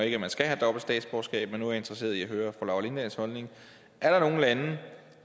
ikke at man skal have dobbelt statsborgerskab men nu interesseret i at høre fru laura lindahls holdning er der nogle lande